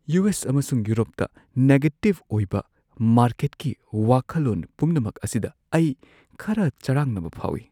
U. S. ꯑꯃꯁꯨꯡ ꯌꯨꯔꯣꯞꯇ negative ꯑꯣꯏꯕ ꯃꯥꯔꯀꯦꯠꯀꯤ ꯋꯥꯈꯜꯂꯣꯟ ꯄꯨꯝꯅꯃꯛ ꯑꯁꯤꯗ ꯑꯩ ꯈꯔ ꯆꯔꯥꯡꯅꯕ ꯐꯥꯎꯏ꯫